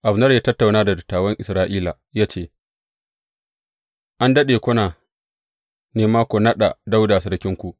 Abner ya tattauna da dattawan Isra’ila ya ce, An daɗe kuna nema ku naɗa Dawuda sarkinku.